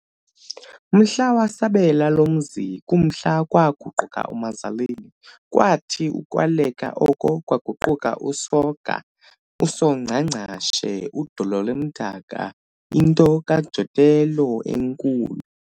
Mhla wasabela lo mzi, kumhla kwaguquka uMazaleni, kwathi ukwaleka oko kwaguquka uSoga, "USongcangcashe, udolo limdaka," into kaJotello enkulu.